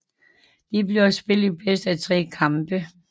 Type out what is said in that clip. Der bliver spillet bedst af tre kampe